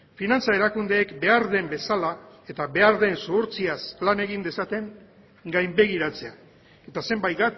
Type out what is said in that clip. finantza erakundeek behar den bezala eta behar den zuhurtziaz lan egin dezaten gainbegiratzea eta zenbait